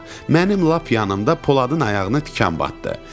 Mənim lap yanımda Poladın ayağına tikan batdı.